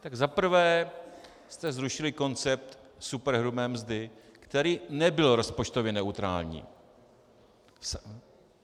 Za prvé jste zrušili koncept superhrubé mzdy, který nebyl rozpočtově neutrální.